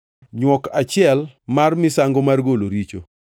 nywok achiel mar kaka misango mar golo richo;